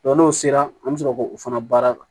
n'o sera an bɛ sɔrɔ k'o fana baara kɛ